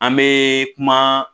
An bɛ kuma